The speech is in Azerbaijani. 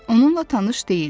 Onunla tanış deyildi.